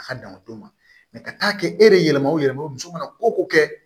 A ka dama d'o ma ka taa kɛ e yɛrɛ yɛlɛma o yɛlɛma ye o muso mana ko kɛ